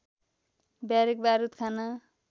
barrack बारुद खाना